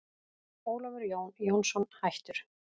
Ólafur Jón Jónsson, hættur